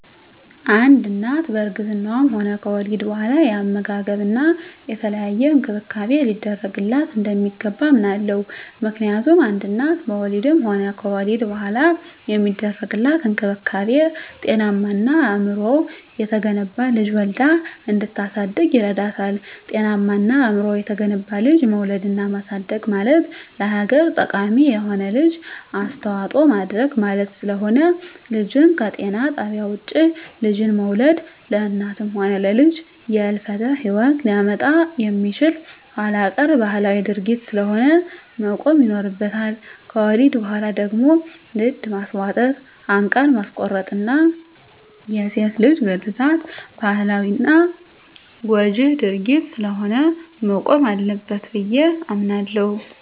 አንድ እናት በእርግዝናዋም ሆነ ከወሊድ በኋላ የአመጋገብና የተለያየ እንክብካቤ ሊደረግላት እንደሚገባ አምናለሁ። ምክንያቱም አንድ እናት በወሊድም ሆነ ከወሊድ በኋላ የሚደረግላት እንክብካቤ ጤናማና አእምሮው የተገነባ ልጅ ወልዳ እንድታሳድግ ይረዳታል። ጤናማና አእምሮው የተገነባ ልጅ መውለድና ማሳደግ ማለት ለሀገር ጠቃሚ የሆነ ልጅ አስተዋጽኦ ማድረግ ማለት ስለሆነ። ልጅን ከጤና ጣቢያ ውጭ ልጅን መውለድ ለእናትም ሆነ ለልጅ የህልፈተ ሂወት ሊያመጣ የሚችል ኋላቀር ባህላዊ ድርጊት ስለሆነ መቆም ይኖርበታል። ከወሊድ በኋላ ደግሞ ድድ ማስቧጠጥ፣ አንቃር ማስቆረጥና የሴት ልጅ ግርዛት ባህላዊና ጎጅ ድርጊት ስለሆነ መቆም አለበት ብየ አምናለሁ።